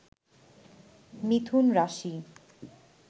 মিথুন রাশি